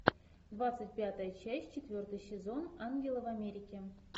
двадцать пятая часть четвертый сезон ангелы в америке